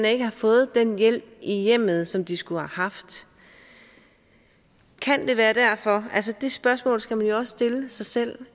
ikke har fået den hjælp i hjemmet som de skulle have haft kan det være derfor det spørgsmål skal man jo også stille sig selv